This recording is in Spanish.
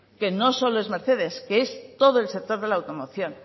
que no solo es mercedes que es todo el sector de la automoción